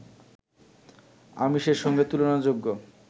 আমিষের সঙ্গে তুলনাযোগ্য